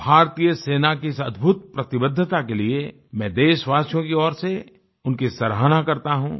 भारतीय सेना की इस अद्भुत प्रतिबद्धता के लिए मैं देशवासियों की ओर से उनकी सराहना करता हूँ